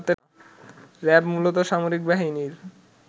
RAB মূলত সামরিক বাহিনীর